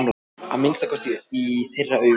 Að minnsta kosti í þeirra augum!